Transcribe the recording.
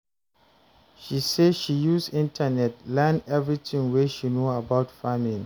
She sey she use internet learn everytin wey she know about farming.